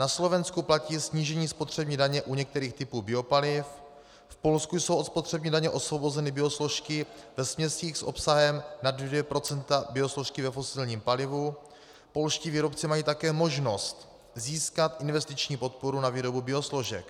Na Slovensku platí snížení spotřební daně u některých typů biopaliv, v Polsku jsou od spotřební daně osvobozeny biosložky ve směsích s obsahem nad 2 % biosložky ve fosilním palivu, polští výrobci mají také možnost získat investiční podporu na výrobu biosložek.